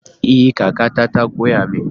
Ee! kakata ta koya min.